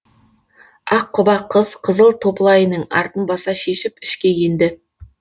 аққұба қыз қызыл топылайының артын баса шешіп ішке енді